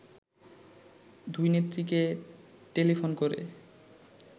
দুই নেত্রীকে টেলিফোন করে